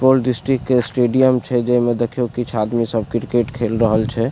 Supaul district के stadium छै जेई में देखियो किछ आदमी सब क्रिकेट खेल रहल छै।